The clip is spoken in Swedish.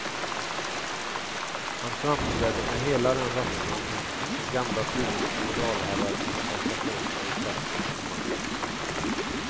Han framträdde med hela den rättframhet som gamla tiders feodalherrar kunde kosta på sig i kraft av sin makt.